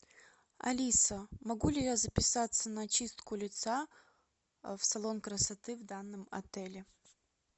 алиса могу ли я записаться на чистку лица в салон красоты в данном отеле